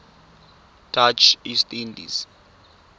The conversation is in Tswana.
dutch east indies